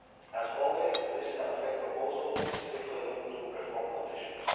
As always, this MFA proposal is strictly linked to reform conditions.